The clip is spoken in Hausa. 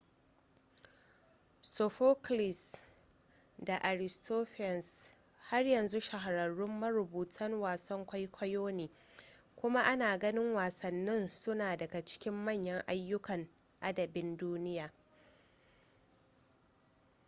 sophocles da aristophanes har yanzu shahararrun marubutan wasan kwaikwayo ne kuma ana ganin wasannin su suna daga cikin manyan ayyukan adabin duniya